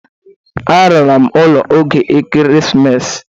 Alara m ụlọ n'oge Ekeresimesi.